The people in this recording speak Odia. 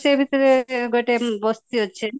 ସେ ଭିତରେ ଗୋଟେ ବସ୍ତି ଅଛି